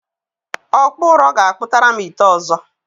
Ọkpụ ụrọ ga-akpụtara m ite ọzọ.